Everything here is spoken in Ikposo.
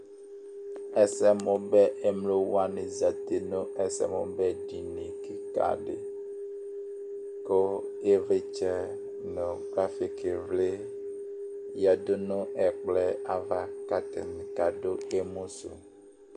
ɛsɛmu bɛ emlo wʋani zati nu ɛsɛmu bɛ dinie kika di, ku ivlitsɛ nu trafik vli yadu nu ɛkplɔɛ ava ku ata kadu emi su